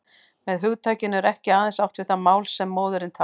Með hugtakinu er ekki aðeins átt við það mál sem móðirin talar.